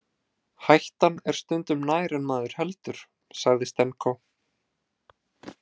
Hættan er stundum nær en maður heldur, sagði Stenko.